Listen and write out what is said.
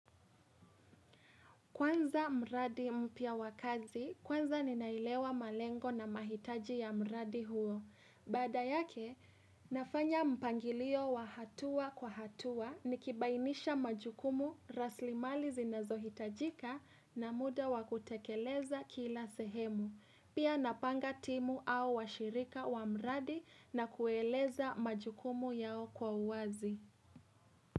Kwanza mradi mpya wakazi, kwanza ninailewa malengo na mahitaji ya mradi huo. Baada yake, nafanya mpangilio wa hatua kwa hatua nikibainisha majukumu rasilimali zinazohitajika na muda wakutekeleza kila sehemu. Pia napanga timu au washirika wa mradi na kueleza majukumu yao kwa uwazi.